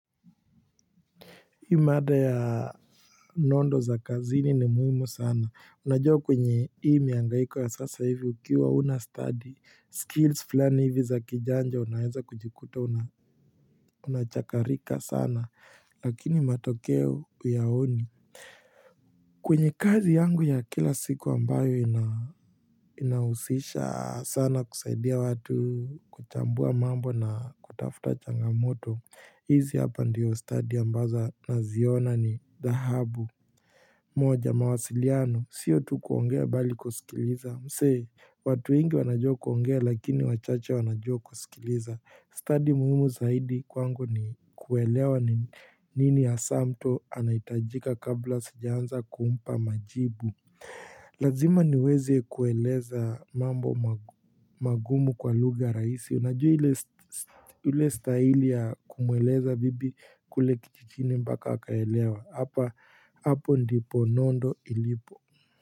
Hii mada ya nondo za kazini ni muhimu sana unajua kwenye hii miangaiko ya sasa hivi ukiwa huna studi skills fulani hivi za kijanja unaeza kujikuta unachakarika sana lakini matokeo huyaoni kwenye kazi yangu ya kila siku ambayo inahusisha sana kusaidia watu kuchambua mambo na kutafuta changamoto hizi hapa ndiyo stadi ambaza naziona ni dhahabu moja mawasiliano. Sio tu kuongea bali kusikiliza. Msee, watu ingi wanajua kuongea lakini wachache wanajua kusikiliza. Stadi muhimu zaidi kwangu ni kuelewa nini hasaa mtu anaitajika kabla sijaanza kuumpa majibu. Lazima niweze kueleza mambo magumu kwa lugha ya rahisi. Najua ile staili ya kumueleza vipi kule kijijini mpaka akaelewa hapa. Hapo ndipo nondo ilipo.